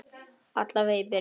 Alla vega í byrjun.